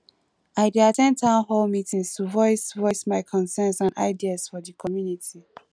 i dey at ten d town hall meetings to voice voice my concerns and ideas for the community